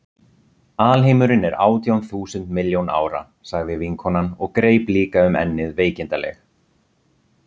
Alheimurinn er átján þúsund milljón ára, sagði vinkonan og greip líka um ennið veikindaleg.